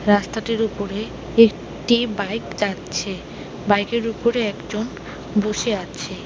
রাস্তাটির ওপরে এক-টি বাইক যাচ্ছে বাইক -এর উপরে একজন বসে আছে।